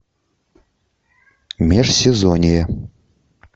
межсезонье